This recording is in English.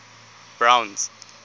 browns